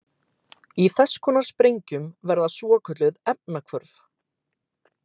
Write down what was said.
Í þess konar sprengjum verða svokölluð efnahvörf.